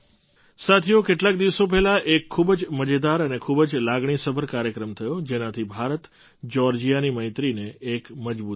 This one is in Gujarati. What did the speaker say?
સાથીઓ કેટલાક દિવસો પહેલાં એક ખૂબ જ મજેદાર અને ખૂબ જ લાગણીસભર કાર્યક્રમ થયો જેનાથી ભારતજ્યૉર્જિયાની મૈત્રીને એક મજબૂતી મળી